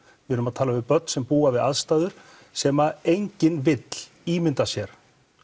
við erum að tala um börn sem búa við aðstæður sem enginn vill ímynda sér